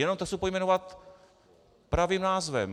Jenom to chci pojmenovat pravým názvem.